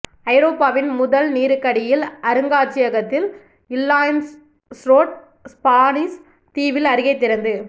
ஐரோப்பாவின் முதல் நீருக்கடியில் அருங்காட்சியகத்தில் ல்யாந்ஸ்ரோட் ஸ்பானிஷ் தீவில் அருகே திறந்து